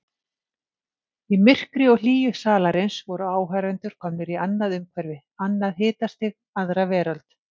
Í myrkri og hlýju salarins voru áhorfendur komnir í annað umhverfi, annað hitastig, aðra veröld.